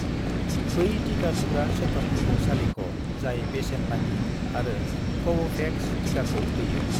बै टिका थुग्रा सेन्टारफोरखौ सालिख' जाय बेसेन नाङि आरो कव'भेक्स टिकाखौ होयो।